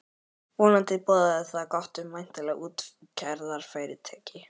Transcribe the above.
Vonandi boðaði það gott um væntanlegt útgerðarfyrirtæki.